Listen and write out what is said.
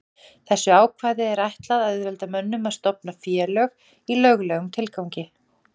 þessu ákvæði er ætlað að auðvelda mönnum að stofna félög í löglegum tilgangi